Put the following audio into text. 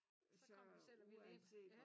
Så kommer de selv og vil ind ja